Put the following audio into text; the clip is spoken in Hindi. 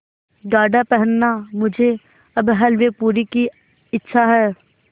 गाढ़ा पहनना मुझे अब हल्वेपूरी की इच्छा है